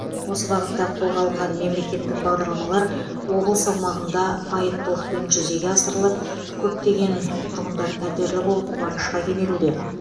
осы бағытта қолға алынған мемлекеттік бағдарламалар облыс аумағында байыптылықпен жүзеге асырылып көптеген тұрғындар пәтерлі болып қуанышқа кенелуде